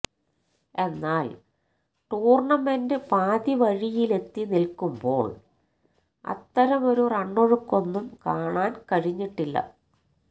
എന്നാല് ടൂര്ണമെന്റ് പാതിവഴിയിലെത്തി നില്ക്കുമ്പോള് അത്തരമൊരു റണ്ണൊഴുക്കൊന്നും കാണാന് കഴിഞ്ഞിട്ടില്ല